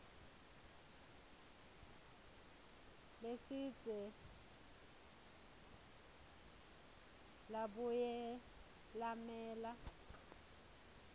lesidze labuye lamela